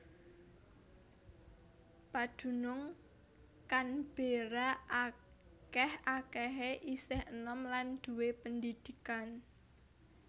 Padunung Canberra akèh akèhé isih enom lan duwé pendidikan